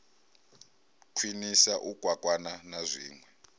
khwiniswa u kwakwana na zwinwe